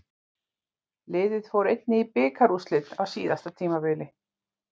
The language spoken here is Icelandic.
Liðið fór einnig í bikarúrslit á síðasta tímabili.